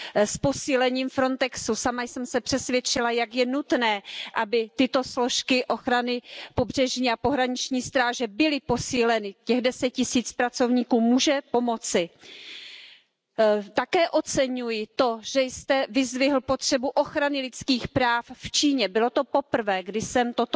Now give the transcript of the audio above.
Sajnos egyes tagállamok és pártszövetségek hozzáállása a Belgrád Pristina folyó párbeszéd tekintetében is következetlen. Az EU évek óta megoldást követel a felektől az integrációs folyamatok gyorsítására. Cserébe viszont egyes uniós tagállamok hozzáállása inkább csak a status quót erősíti. A tagállamoknak segíteniük kell a feleket,